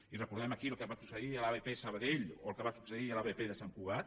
i recordem aquí el que va succeir a l’abp sabadell o el que va succeir a l’abp de sant cugat